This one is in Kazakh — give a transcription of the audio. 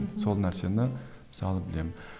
сол нәрсені мысалы білемін